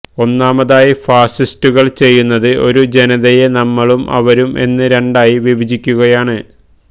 ഒന്നാമതായി ഫാസിസ്റ്റുകള് ചെയ്യുന്നത് ഒരു ജനതയെ നമ്മളും അവരും എന്ന് രണ്ടായി വിഭജിക്കുകയാണ്